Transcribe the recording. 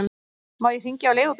Má ég hringja á leigubíl?